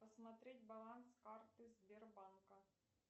посмотреть баланс карты сбербанка